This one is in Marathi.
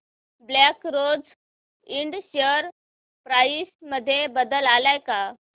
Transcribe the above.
black Rose Ind share price मध्ये बदल आलाय का